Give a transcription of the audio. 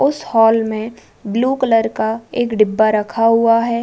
उस हॉल में blue colour का एक डिब्बा रखा हुआ है।